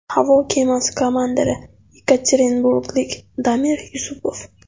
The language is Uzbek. Havo kemasi komandiri yekaterinburglik Damir Yusupov.